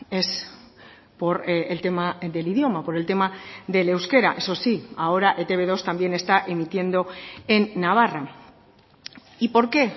es por el tema del idioma por el tema del euskera eso sí ahora e te be dos también está emitiendo en navarra y por qué